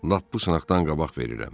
Lap bu sınaqdan qabaq verirəm.